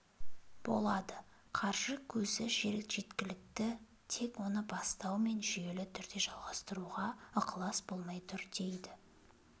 болады қаржы көзі жеткілікті тек оны бастау мен жүйелі түрде жалғастыруға ықылас болмай тұр дейді